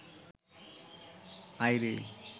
আয় রে